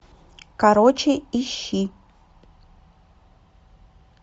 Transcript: короче ищи